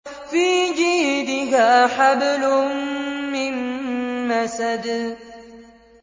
فِي جِيدِهَا حَبْلٌ مِّن مَّسَدٍ